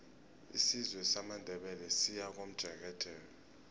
isizwe samandebele siyakomjekejeke